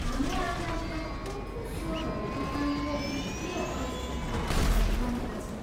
हाम्रा आम्दानीका कुन कुन स्रोतहरू तपाईँको वित्तीय परिस्थितिको कारण बनेका छन्?